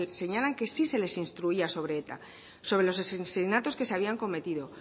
señalan que sí se les instruía sobre eta sobre los asesinatos que se habían cometido